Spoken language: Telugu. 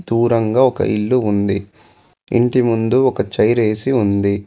దూరంగా ఒక ఇల్లు ఉంది ఇంటి ముందు ఒక చైర్ ఏసీ ఉంది.